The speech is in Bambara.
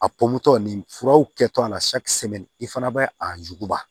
A pɔmutɔ nin furaw kɛtɔla i fana bɛ a yuguba